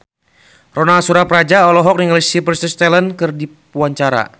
Ronal Surapradja olohok ningali Sylvester Stallone keur diwawancara